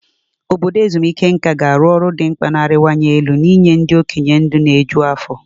Obodo ezumike nká ga-arụ ọrụ dị mkpa na-arịwanye elu n'inye ndị okenye ndụ na-eju afọ.